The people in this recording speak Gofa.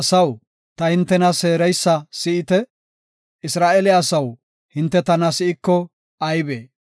“Ta asaw, ta hintena seereysa si7ite; Isra7eele asaw hinte tana si7iko aybee?